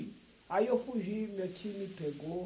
Aí eu fugi, meu tio me pegou.